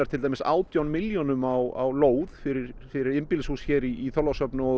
átján milljónum á lóð fyrir fyrir einbýlishús hér í Þorlákshöfn og